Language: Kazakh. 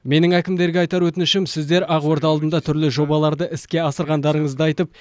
менің әкімдерге айтар өтінішім сіздер ақорда алдында түрлі жобаларды іске асырғандарыңызды айтып